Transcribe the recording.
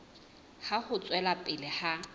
ya ho tswela pele ha